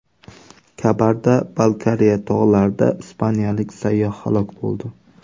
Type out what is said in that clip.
Kabarda-Balkariya tog‘larida ispaniyalik sayyoh halok bo‘ldi.